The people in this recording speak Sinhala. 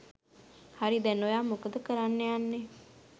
හරි දැන් ඔයා මොකද කරන්න යන්නෙ?